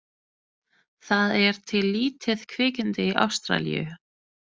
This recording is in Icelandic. Það er til lítið kvikindi í Ástralíu.